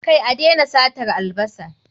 Kai, a daina satar albasa